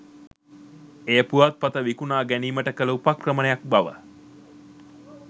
එය පුවත්පත විකුණා ගැනීමට කළ උපක්‍රමයක් බව